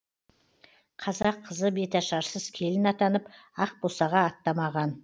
қазақ қызы беташарсыз келін атанып ақбосаға аттамаған